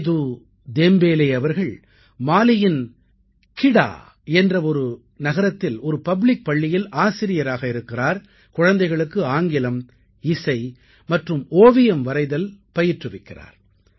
Setu Tembele அவர்கள் மாலியின் Kita என்ற ஒரு நகரத்தில் ஒரு பப்ளிக் பள்ளியில் ஆசிரியராக இருக்கிறார் குழந்தைகளுக்கு ஆங்கிலம் இசை மற்றும் ஓவியம் வரைதல் பயிற்றுவிக்கிறார்